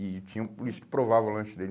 E tinha um polícia que provava o lanche dele.